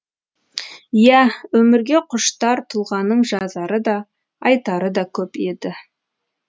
иә өмірге құштар тұлғаның жазары да айтары да көп еді